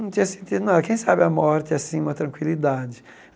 Não tinha sentido nada, quem sabe a morte é assim uma tranquilidade.